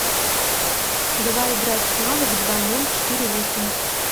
давай играть в навык два ноль четыре восемь